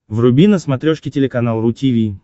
вруби на смотрешке телеканал ру ти ви